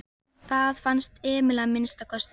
Það fannst Emil að minnsta kosti.